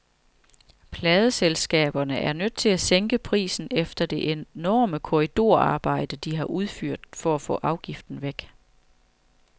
Pladeselskaberne er nødt til at sænke prisen efter det enorme korridorarbejde, de har udført for at få afgiften væk.